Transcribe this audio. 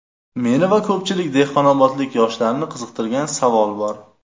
Meni va ko‘pchilik dehqonobodlik yoshlarni qiziqtirgan savol bor.